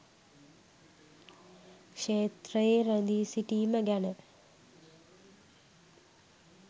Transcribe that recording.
ක්ෂේත්‍රයේ රැඳී සිටීම ගැන.